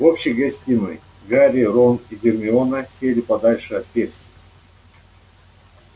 в общей гостиной гарри рон и гермиона сели подальше от перси